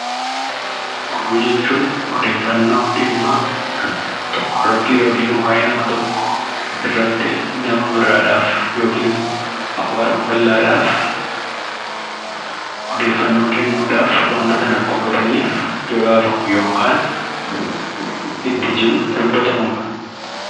Oduu jechuun odeeffannoo dhimma tokkorratti yookiin waa'ee nama tokkoo irratti nama biraadhaaf yookiis hawaasa bal'aadhaaf, odeeffannoo kennuudhaaf waanta sana akka hubataniif gabaafamu yookaan itti jiru dubbatamudha.